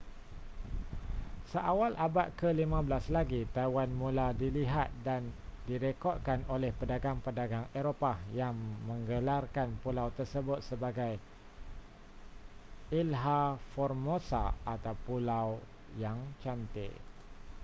seawal abad ke-15 lagi taiwan mula dilihat dan direkodkan oleh pedagang-pedagang eropah yang menggelarkan pulau tersebut sebagai iiha formosa atau pulau yang cantik